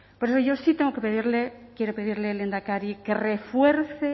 por eso yo sí tengo que pedirle quiero pedirle lehendakari que refuerce